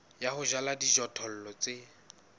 ya ho jala dijothollo tse